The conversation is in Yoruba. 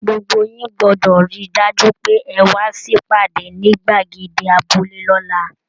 Gbogbo yín gbọdọ rí dájú pé e wa sipade nigbagede abúlé l'ọla.